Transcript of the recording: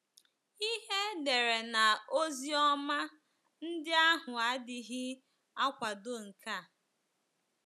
Ihe edere n' Oziọma ndị ahụ adịghị akwado nke a.